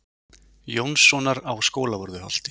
Jónssonar á Skólavörðuholti.